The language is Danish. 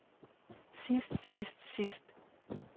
sidst sidst sidst